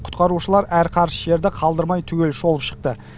құтқарушылар әр қарыс жерді қалдырмай түгел шолып шықты